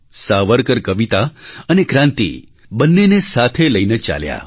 સાવરકર કવિતા અને ક્રાંતિ બંનેને સાથે લઈને ચાલ્યા